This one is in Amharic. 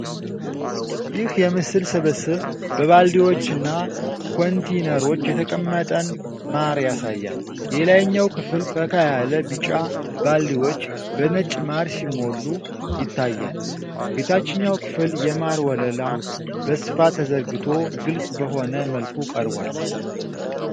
ይህ የምስል ስብስብ በባልዲዎችና ኮንቴይነሮች የተቀመጠን ማር ያሳያል። የላይኛው ክፍል ፈካ ያለ ቢጫ ባልዲዎች በነጭ ማር ሲሞሉ ይታያል። የታችኛው ክፍል የማር ወለላ በስፋት ተዘርግቶ ግልጽ በሆነ መልኩ ቀርቧል።